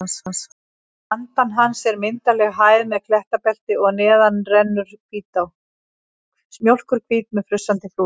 Handan hans er myndarleg hæð með klettabelti og neðar rennur Hvítá, mjólkurhvít með frussandi flúðum.